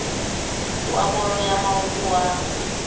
wa bolo ya maoto wa